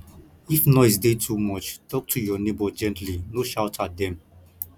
if noise dey too much talk to your neighbor gently no shout at dem